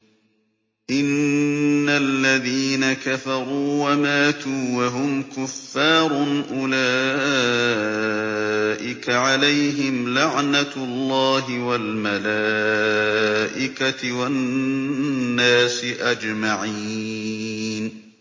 إِنَّ الَّذِينَ كَفَرُوا وَمَاتُوا وَهُمْ كُفَّارٌ أُولَٰئِكَ عَلَيْهِمْ لَعْنَةُ اللَّهِ وَالْمَلَائِكَةِ وَالنَّاسِ أَجْمَعِينَ